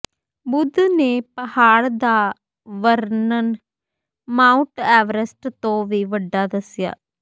ਬੁੱਧ ਨੇ ਪਹਾੜ ਦਾ ਵਰਨਨ ਮਾਊਂਟ ਐਵਰੇਸਟ ਤੋਂ ਵੀ ਵੱਡਾ ਦੱਸਿਆ